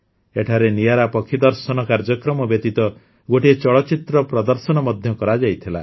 ଏଠାରେ ନିଆରା ପକ୍ଷୀ ଦର୍ଶନ କାର୍ଯ୍ୟକ୍ରମ ବ୍ୟତୀତ ଗୋଟିଏ ଚଳଚ୍ଚିତ୍ର ପ୍ରଦର୍ଶନ ମଧ୍ୟ କରାଯାଇଥିଲା